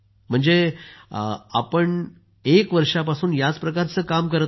म्हणजे एकूण आपण एक वर्षापासून याच प्रकारचे काम करत आहात